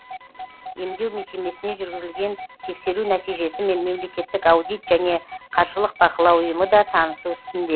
емдеу мекемесіне жүргізілген тексеру нәтижесімен мемлекеттік аудит және қаржылық бақылау ұйымы да танысу үстінде